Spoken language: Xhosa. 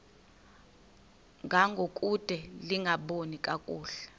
ngangokude lingaboni kakuhle